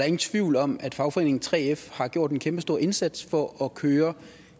ingen tvivl om at fagforeningen 3f har gjort en kæmpestor indsats for at køre